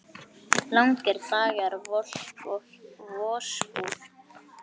Langir dagar, volk og vosbúð.